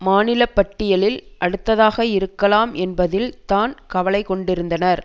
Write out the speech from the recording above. மாநிலப்பட்டியலில் அடுத்ததாக இருக்கலாம் என்பதில் தான் கவலை கொண்டிருந்தனர்